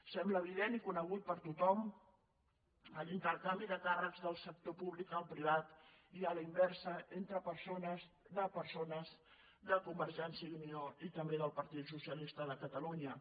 sembla evident i conegut per tothom l’intercanvi de càrrecs del sector públic al privat i a la inversa de persones de convergència i unió i també del partit socialista de catalunya